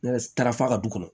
Ne taara f'a ka du kɔnɔ